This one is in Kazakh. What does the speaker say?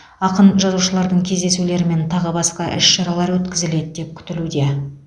ақын жазушылардың кездесулері мен тағы басқа іс шаралар өткізіледі деп күтілуде